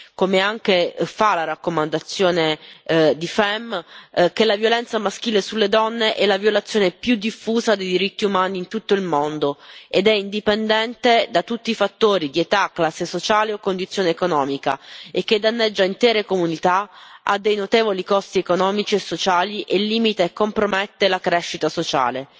come anche fa la raccomandazione della commissione FEMM, che la violenza maschile sulle donne è la violazione più diffusa dei diritti umani in tutto il mondo, che è indipendente da tutti i fattori di età, classe sociale o condizione economica e che danneggia intere comunità, ha dei notevoli costi economici e sociali e limita e compromette la crescita sociale.